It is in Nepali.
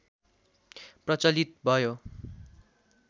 प्रचलित भयो